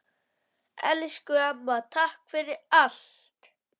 Elsku amma, takk fyrir allt!